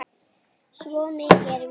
Svo mikið er víst